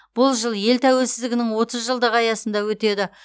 бұл жыл ел тәуелсіздігінің отыз жылдығы аясында өтеді